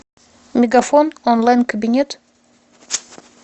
мегафон онлайн кабинет